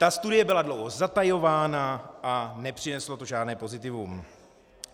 Ta studie byla dlouho zatajována a nepřineslo to žádné pozitivum.